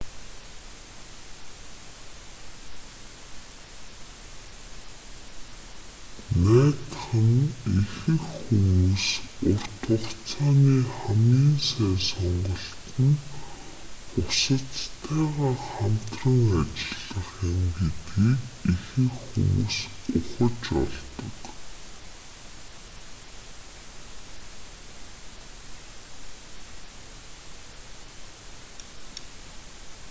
найдах нь ихэнх хүмүүс урт хугацааны хамгийн сайн сонголт нь бусаддтайгаа хамтран ажиллах юм гэдгийг ихэнх хүмүүс ухаж олог